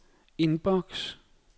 inbox